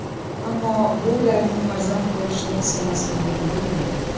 Ammo bu ularning farzand ko‘rishni istamasligini bildirmaydi.